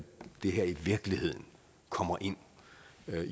det her i virkeligheden kommer ind